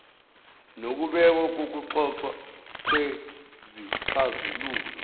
kokubekwa nokuxoxwa kwezixazululo